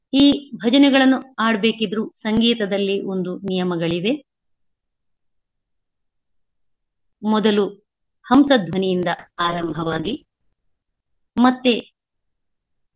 ಈ ಭಜನೆಗಳನ್ನು ಆಡ್ಬೇಕಿದ್ರು ಸಂಗೀತದಲ್ಲಿ ಒಂದು ನಿಯಮಗಳಿವೆ. ಮೊದಲು ಹಂಸಧ್ವನಿಯಿಂದ ಆರಂಭವಾಗಿ ಮತ್ತೇ.